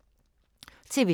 TV 2